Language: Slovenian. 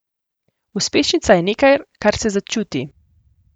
Uspešnica je nekaj, kar se začuti.